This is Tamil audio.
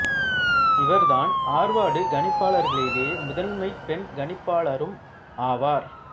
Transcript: இவர் தான் ஆர்வார்டு கணிப்பாளர்களிலேயே முதல் பெண் கணிப்பாளரும் ஆவார்